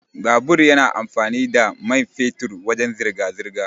Babur yana amfani da mai fetur wajan zirga-zirga.